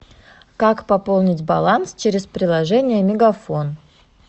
как пополнить баланс через приложение мегафон